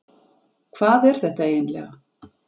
Hvað er þetta eiginlega?